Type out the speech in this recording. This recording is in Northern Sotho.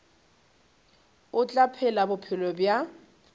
o tla phela bophelo bja